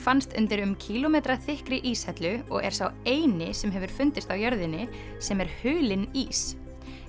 fannst undir um kílómetra þykkri íshellu og er sá eini sem hefur fundist á jörðinni sem er hulinn ís